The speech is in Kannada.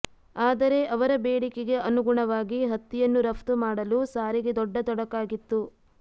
ಆದರೆ ಅವರ ಬೇಡಿಕೆಗೆ ಅನುಗುಣವಾಗಿ ಹತ್ತಿಯನ್ನು ರಫ್ತು ಮಾಡಲು ಸಾರಿಗೆ ದೊಡ್ಡ ತೊಡಕಾಗಿತ್ತು